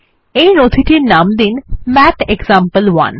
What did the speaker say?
এই নথিটির নাম দিন ম্যাথেক্সাম্পল1